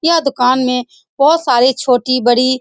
यह दुकान में बहुत सारी छोटी-बड़ी --